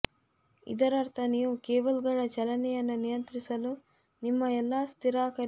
ಇದರರ್ಥ ನೀವು ಕೇಬಲ್ಗಳ ಚಲನೆಯನ್ನು ನಿಯಂತ್ರಿಸಲು ನಿಮ್ಮ ಎಲ್ಲಾ ಸ್ಥಿರಕಾರಿ ಸ್ನಾಯುಗಳನ್ನು ಒಳಗೊಂಡಿರಬೇಕು